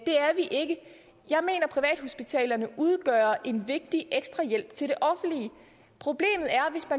privathospitalerne udgør en vigtig ekstra hjælp til det offentlige problemet